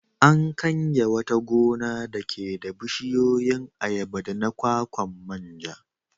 An kange wata gona dake da bishiyoyin ayaba da na kwakwa man ja.